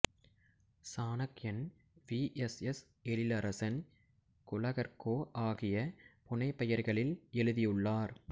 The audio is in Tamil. சாணக்கியன் V S S Ezhilarasan Kuzhagarko ஆகிய புனை பெயர்களில்எழுதியுள்ளார்